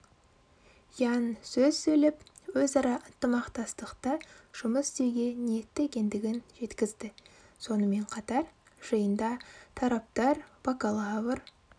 янь сөз сөйлеп өзара ынтымақтастықта жұмыс істеуге ниетті екендігін жеткізді сонымен қатар жиында тараптар бакалавр